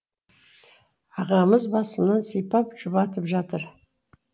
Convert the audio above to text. ағамыз басымнан сипап жұбатып жатыр